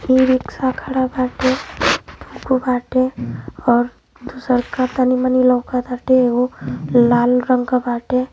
E rickshaw खड़ा बाटे बाटे और दूसरका तनी मनी लौकताटे। एगो लाल रंग क बाटे।